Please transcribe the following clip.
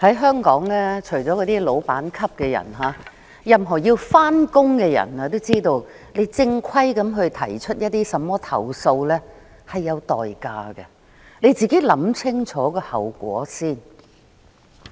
在香港，除了老闆級的人，任何要上班的人也知道，正規地提出一些投訴是有代價的，自己要想清楚後果。